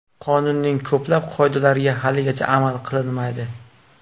Qonunning ko‘plab qoidalariga haligacha amal qilinmaydi.